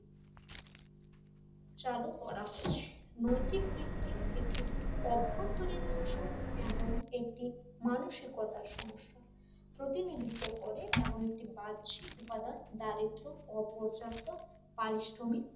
করা হয়েছে নৈতিক দিকটি একটি অভ্যন্তরীণ অংশ এবং একটি মানসিকতা সমস্যা প্রতিনিধিত্ব করে এবং একটি বাহ্যিক উপাদান দারিদ্র্য অপর্যাপ্ত পারিশ্রমিক